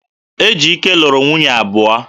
Ejike luru nwunye abuo